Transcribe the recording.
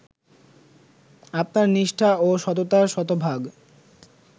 আপনার নিষ্ঠা ও সততা শতভাগ